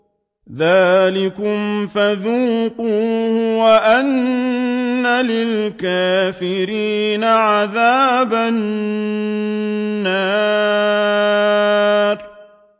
ذَٰلِكُمْ فَذُوقُوهُ وَأَنَّ لِلْكَافِرِينَ عَذَابَ النَّارِ